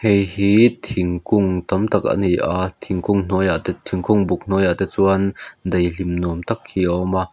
hei hi thingkung tam tak a ni a thingkung hnuaiah te thingkung buk hnuaiah te chuan daih hlim nuam tak hi a awm a.